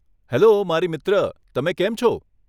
Hello, મારી મિત્ર, તમે કેમ છો?